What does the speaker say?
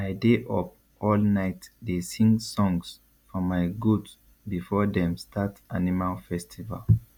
i dey up all night dey sing songs for my goat before them start animal festival